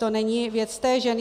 To není věc té ženy.